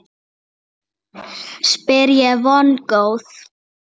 spyr ég vongóð.